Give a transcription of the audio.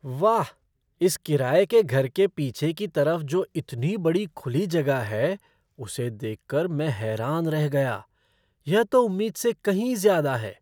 वाह, इस किराये के घर के पीछे की तरफ़ जो इतनी बड़ी खुली जगह है उसे देख कर मैं हैरान रह गया, यह तो उम्मीद से कई ज़्यादा है।